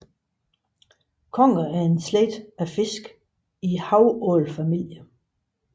Conger er en slægt af fisk i havålfamilien